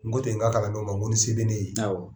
N ko ten n ka kalandenw ma ko ni se bɛ ne ye? Awɔɔ!